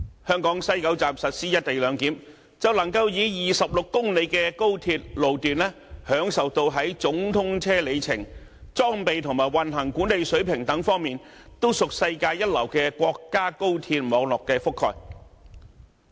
香港西九站實施"一地兩檢"，便能夠以26公里的高鐵路段，享受到在總通車里程、裝備和運行管理等方面，都屬世界一流國家高鐵網絡的覆蓋。